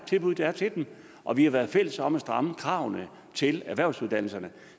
tilbud der er til dem og vi har været fælles om at stramme kravene til erhvervsuddannelserne